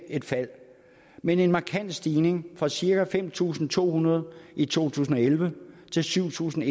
et fald men en markant stigning fra cirka fem tusind to hundrede i to tusind og elleve til syv tusind